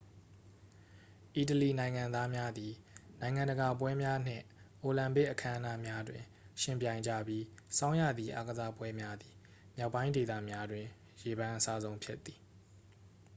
အီတလီနိုင်ငံသားများသည် နိုင်ငံတကာပွဲများနှင့် အိုလံပစ်အခမ်းအနားများတွင် ယှဉ်ပြိုင်ကြပြီး ဆောင်းရာသီအားကစားပွဲများသည် မြောက်ပိုင်းဒေသများတွင် ရေပန်းအစားဆုံးဖြစ်သည်